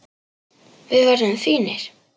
Við verðum fínir.